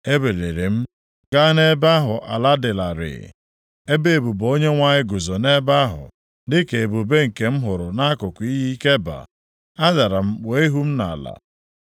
Ebiliri m gaa nʼebe ahụ ala dị larịị. Ebube Onyenwe anyị guzo nʼebe ahụ dịka ebube nke m hụrụ nʼakụkụ iyi Keba. Adara m kpuo ihu m nʼala.